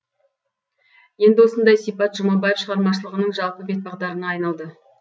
енді осындай сипат жұмабаев шығармашылығының жалпы бет бағдарына айналды